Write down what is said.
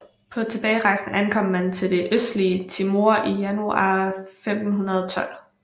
På tilbagerejsen ankom man til det østlige Timor i januar 1512